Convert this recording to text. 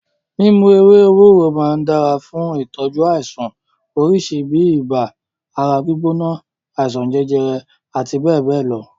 Mímu ewé ewúro máa ń dára fún ìtọ́jú àìsàn oríṣi bíi ibà, ara gbígbóná, àìsàn jẹjẹrẹ àti bẹ́ẹ̀bẹ́ẹ̀ lọ.